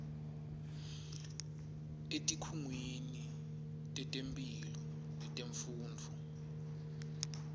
etikhungweni tetemphilo netemfundvo